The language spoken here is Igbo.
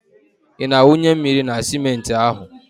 Ị na-awụnye mmiri na simenti ahụ?